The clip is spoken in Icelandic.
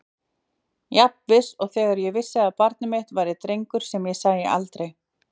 Jafn viss og þegar ég vissi að barnið mitt var drengur sem ég sæi aldrei.